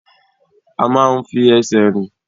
A máa ń fi ẹsẹ̀ rìn.